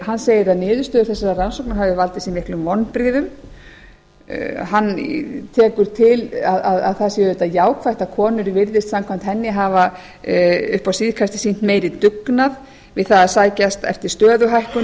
hann segir að niðurstöður þessara rannsókna hafi valdið sér miklum vonbrigðum hann tekur til að það sé auðvitað jákvætt að konur virðist samkvæmt henni upp á síðkastið hafa sýnt meiri dugnað við það að sækjast eftir